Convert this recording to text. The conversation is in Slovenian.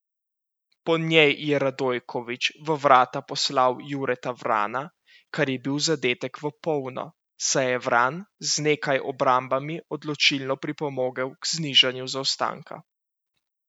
Po njej je Radojković v vrata poslal Jureta Vrana, kar je bil zadetek v polno, saj je Vran z nekaj obrambami odločilno pripomogel k znižanju zaostanka.